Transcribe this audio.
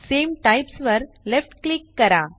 सामे types वर left click करा